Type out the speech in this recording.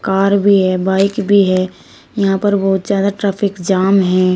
Car भी है bike भी है यहां पर बहुत ज्यादा ट्रैफिक जाम है।